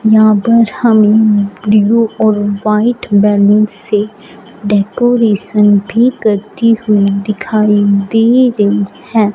यहां पर हमें ब्लू और व्हाइट बैलून से डेकोरेशन भी करती हुई दिखाई दे रही हैं।